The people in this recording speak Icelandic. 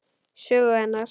Sögu hennar.